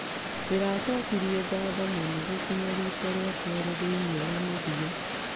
Ndĩracokirie ngatho mũno gũkinya rita rĩa kerĩ thĩinĩ wa mũthia .